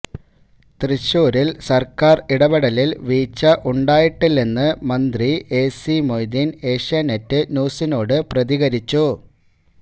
തൃശ്ശൂരിൽ സർക്കാർ ഇടപെടലിൽ വീഴ്ച ഉണ്ടായിട്ടില്ലെന്ന് മന്ത്രി എസി മൊയ്തീൻ ഏഷ്യാനെറ്റ് ന്യൂസിനോട് പ്രതികരിച്ചു